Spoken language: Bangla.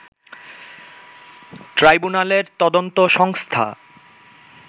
ট্রাইব্যুনালের তদন্ত সংস্থা